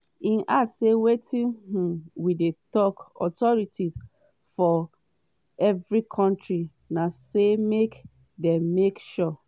im add say “wetin um we dey tok authorities for every kontri na say make dem make sure